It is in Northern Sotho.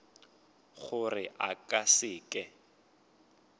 gore a ka se ke